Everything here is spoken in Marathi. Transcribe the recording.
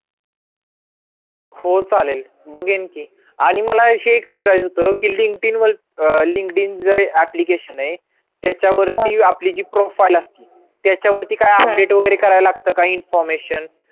हो चालेल बघेन की आणि मला हे एक विचारायचं होतं की linkedin वर अं linkedin जे application ये त्याच्या वरती आपली जी profile असती त्याच्यावरती काय update वगैरे करायला लागतं का information